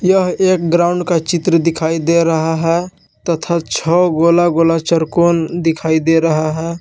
यह एक ग्राउंड का चित्र दिखाई दे रहा है तथा छह गोला गोला चारकोन दिखाई दे रहा है।